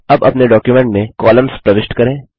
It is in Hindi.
अब अपने डॉक्युमेंट में कॉलम्स प्रविष्ट करें